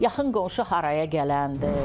Yaxın qonşu haraya gələndir?